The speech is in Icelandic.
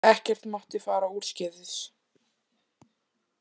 Ekkert mátti fara úrskeiðis.